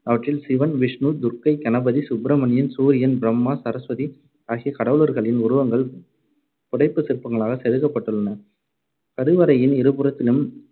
அவற்றில் சிவன், விஷ்ணு, துர்கை, கணபதி, சுப்பிரணியன், சூரியன், பிரம்மா, சரஸ்வதி ஆகிய கடவுளர்களின் உருவங்கள் புடைப்புச் சிற்பங்களாகச் செதுக்கப்பட்டுள்ளன. கருவறையின் இருபுறத்திலும்